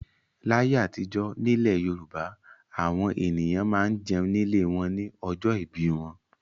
Láyé àtijọ́ nílẹ̀ Yorùbá àwọn ènìyàn máa ń jẹun nílé wọn ní ọjọ́ ìbí wọn.